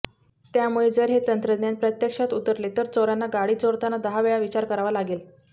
त्यामुळे जर हे तंत्रज्ञान प्रत्यक्षात उतरले तर चोरांना गाडी चोरताना दहा वेळा विचार करावा लागेल